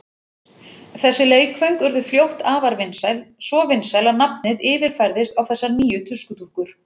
Þessi leikföng urðu fljótt afar vinsæl, svo vinsæl að nafnið yfirfærðist á þessar nýju tuskudúkkur.